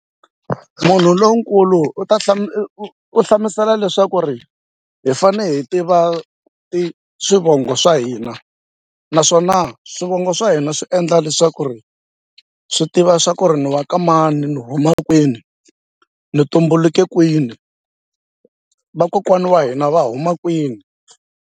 Munhu lonkulu u ta u hlamusela leswaku ri hi fanele hi tiva swivongo swa hina naswona swivongo swa hina swi endla leswaku ri swi tiva swa ku ri ni wa ka mani ni huma kwini ni tumbuluke kwini vakokwani wa hina va huma kwini.